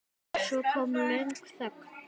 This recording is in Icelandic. Svo kom löng þögn.